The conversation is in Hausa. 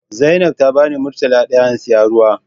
Zainab ta bani murtala daya in siya ruwa.